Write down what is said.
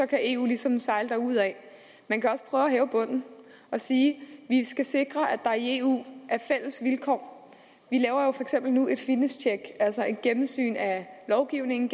kan eu ligesom sejle derudad man kan også prøve at hæve bunden og sige at vi skal sikre at der er i eu vi laver jo for eksempel nu et finish tjek altså et gennemsyn af lovgivningen